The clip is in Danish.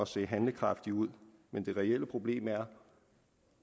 se handlekraftigt ud men det reelle problem er